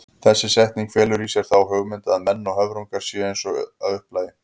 Þessi setning felur í sér þá hugmynd að menn og höfrungar séu eins að upplagi.